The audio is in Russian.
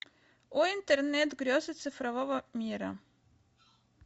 о интернет грезы цифрового мира